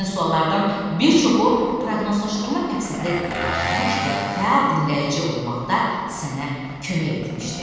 Həmin suallardan bir çoxu proqnozlaşdırma məqsədi daşımış və fəal dinləyici olmaqda sənə kömək etmişdi.